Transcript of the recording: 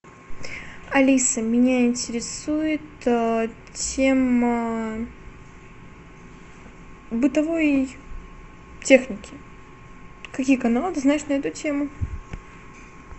алиса меня интересует тема бытовой техники какие каналы ты знаешь на эту тему